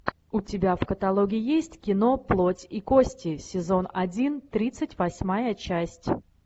у тебя в каталоге есть кино плоть и кости сезон один тридцать восьмая часть